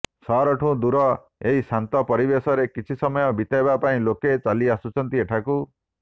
ସହରଠୁ ଦୂର ଏହି ଶାନ୍ତ ପରିବେଶରେ କିଛି ସମୟ ବିତାଇବା ପାଇଁ ଲୋକେ ଚାଲିଆସୁଛନ୍ତି ଏଠାକୁ